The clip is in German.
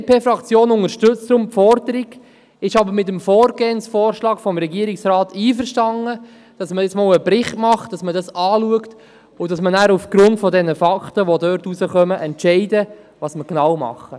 Die BDP-Fraktion unterstützt deshalb die Forderung, ist aber mit dem Vorgehensvorschlag des Regierungsrats einverstanden, wonach vorerst ein Bericht erstellt und aufgrund der daraus hervorgehenden Fakten entschieden werden soll, was wir genau tun wollen.